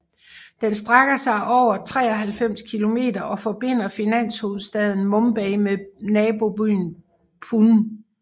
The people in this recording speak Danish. Den strækker sig over 93 km og forbinder finanshovedstaden Mumbai med nabobyen Pune